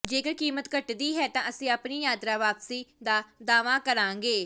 ਜੇਕਰ ਕੀਮਤ ਘਟਦੀ ਹੈ ਤਾਂ ਅਸੀਂ ਆਪਣੀ ਯਾਤਰਾ ਵਾਪਸੀ ਦਾ ਦਾਅਵਾ ਕਰਾਂਗੇ